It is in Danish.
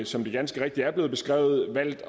som det ganske rigtigt er blevet beskrevet valgt